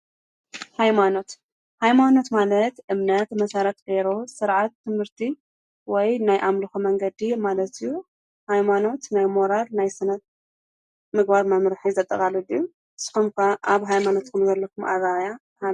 ሃይማኖት፡- ሃይማኖት ማለት እምነት መሰረት ገይሩ ሥርዓት ትምህርቲ ወይ ናይ ኣምልኾ መንገዲ ማለት እዩ፡፡ ሃይማኖት ናይ ሞራል ናይ ስነ ምግባር መምርሒ የዘጠቓልል እዩ፡፡ ስኹም ከ ኣብ ሃይማኖትኩም ዘለኩም ኣራኣእያ ከመይ እዩ?